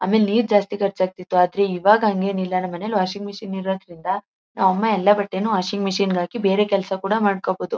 ಆಮೇಲೆ ನೀರು ಜಾಸ್ತಿ ಖರ್ಚಾಗ್ತಿತ್ತು ಆದ್ರೆ ಇವಾಗ ಹಂಗೇನಿಲ್ಲ ನಮ್ಮ್ ಮನೇಲಿ ವಾಷಿಂಗ್ ಮಷಿನ್ ಇರೋದ್ರಿಂದ ನಮ್ಮ ಅಮ್ಮ ಎಲ್ಲ ಬಟ್ಟೇನೂ ವಾಷಿಂಗ್ ಮಷಿನ್ ಗೆ ಹಾಕಿ ಬೇರೆ ಕೆಲಸ ಕೂಡ ಮಾಡ್ಕೋಬಹುದು.